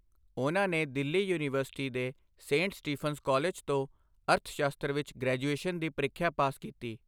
ਉਨ੍ਹਾਂ ਨੇ ਦਿੱਲੀ ਯੂਨੀਵਰਸਿਟੀ ਦੇ ਸੇਂਟ ਸਟੀਫੰਸ ਕਾਲਜ ਤੋਂ ਅਰਥਸ਼ਾਸਤਰ ਵਿੱਚ ਗ੍ਰੈਜੂਏਸ਼ਨ ਦੀ ਪ੍ਰੀਖਿਆ ਪਾਸ ਕੀਤੀ।